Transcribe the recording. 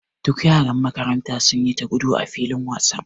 Duk yaran makaranta sun yi ta gudu a filin wasan.